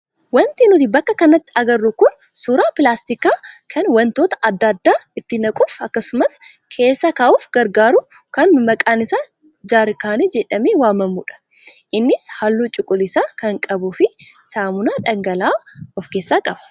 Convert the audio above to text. Wanti nuti bakka kanatti agarru kun suuraa pilaastikaa kan wantoota adda addaa itti naquuf akkasumas keessa kaa'uuf gargaraaru kan maqaan isaa jaarkaanii jedhamee waamamudha. Innis halluu cuquliisa kan qabuu fi saamunaa dhangala'aa of keessaa qaba.